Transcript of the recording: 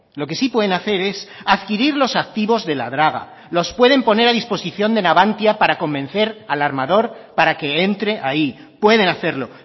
lo que sí pueden hacer es adquirir los activos de la draga los pueden poner a disposición de navantia para convencer al armador para que entre ahí pueden hacerlo